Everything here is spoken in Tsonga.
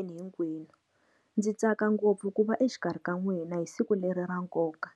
Ina hinkwenu ndzi tsaka ngopfu ku va exikarhi ka n'wina hi siku leri ra nkoka.